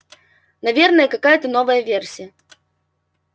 наверное какая-та новая версия